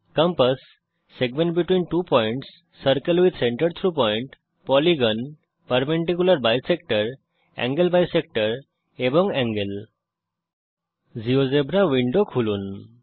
compass segment between two points circle with centre through point polygon perpendicular bisector angle bisector and angle GeoGebra window খুলুন